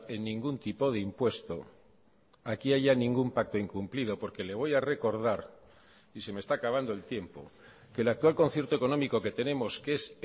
en ningún tipo de impuesto aquí haya ningún pacto incumplido porque le voy a recordar y se me está acabando el tiempo que el actual concierto económico que tenemos que es